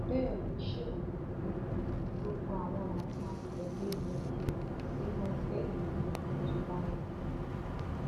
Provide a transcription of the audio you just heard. bẹẹ ló ṣèlérí pé gbogbo àwọn làwọn máa tẹlé e lọ sínú ẹgbẹ yòówù tó bá ń lọ